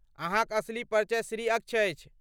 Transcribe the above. अहाँक असली परिचय श्री अक्ष अछि।